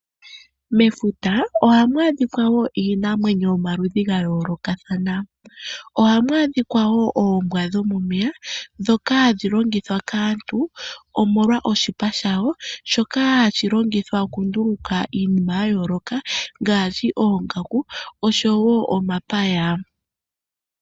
Mefuta ohamu adhikwa wo iinamwenyo yomaludhi gayoolokathana, ohamu adhikwa wo oombwa dhomomeya dhoka hadhi longithwa kaantu omolwa oshipa shawo shoka hashilongithwa okunduluka iinima yayooloka ngaashi, oongaku osho wo omapaya.